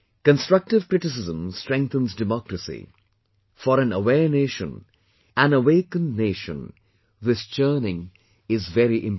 Constructive criticism strengthens democracy; for an aware nation, an awakened nation, this churning is very important